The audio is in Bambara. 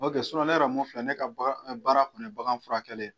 ne yɛrɛ mun filɛ ne ka baara baara kun ye bagan furakɛli ye.